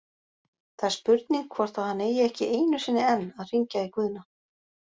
Það er spurning hvort að hann reyni ekki einu sinni enn að hringja í Guðna?????